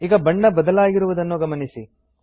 ಈಗ ಬಣ್ಣ ಬದಲಾಗಿರುವುದನ್ನು ಗಮನಿಸಿ